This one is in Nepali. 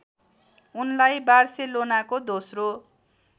उनलाई बार्सेलोनाको दोस्रो